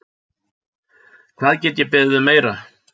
Hvað get ég beðið um meira?